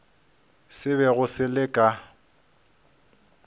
se bego se le ka